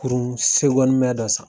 Kurun dɔ san.